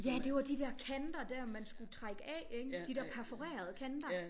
Ja det var de der kanter dér man skulle trække af ikke? De der perforerede kanter?